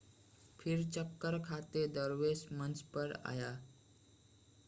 फिर चक्कर खाते दरवेश मंच पर आए